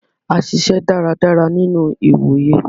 A ṣiṣẹ dáradára nínú ìwòyè.